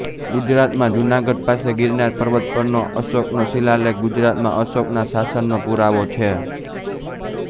ગુજરાતમાં જુનાગઢ પાસે ગીરનાર પર્વત પરનો અશોકનો શીલાલેખ ગુજરાતમાં અશોકના શાસનનો પુરાવો છે